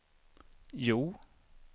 Hjo